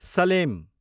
Salem